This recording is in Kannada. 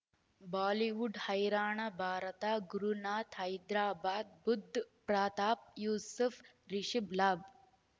ಬಾಲಿವುಡ್ ಹೈರಾಣ ಭಾರತ ಗುರುನಾಥ್ ಹೈದರಾಬಾದ್ ಬುಧ್ ಪ್ರತಾಪ್ ಯೂಸುಫ್ ರಿಷಬ್ ಲಾಭ